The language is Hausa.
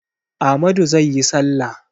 Amadu zai yi salla.